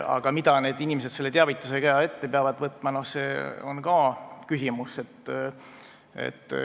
Aga mida need inimesed selle teavitusega ette peavad võtma, see on ka küsimus.